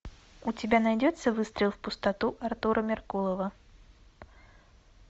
у тебя найдется выстрел в пустоту артура меркулова